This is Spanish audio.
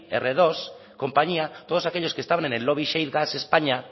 r dos compañía todos aquellos que estaban en el lobby shale gas españa